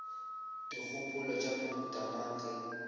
dikgopolo tša mohuta mang ge